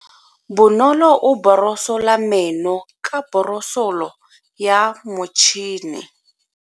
Bonolo o borosola meno ka borosolo ya motšhine.